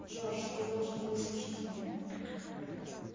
джордж ты должен выслушать меня